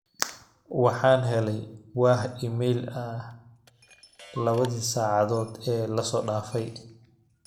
waxaan helay wah iimayl ah labadii sacadood ee lasoo dhaafay